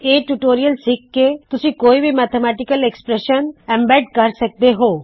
ਇਹ ਟਯੂਟੋਰਿਯਲ ਸਿੱਖ ਕੇ ਤੁਸੀ ਕੋਇ ਵੀ ਮੈਥੇਮੈਟਿਕਲ ਐਕ੍ਸਪ੍ਰੈੱਸ਼ਨ ਸਮਿਲਿਤ ਕਰ ਸਕਦੇ ਹੋ